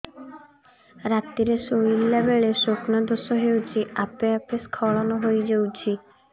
ରାତିରେ ଶୋଇଲା ବେଳେ ସ୍ବପ୍ନ ଦୋଷ ହେଉଛି ଆପେ ଆପେ ସ୍ଖଳନ ହେଇଯାଉଛି